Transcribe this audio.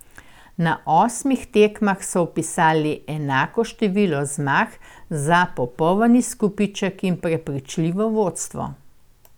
Na osmih tekmah so vpisali enako število zmag za poln izkupiček in prepričljivo vodstvo.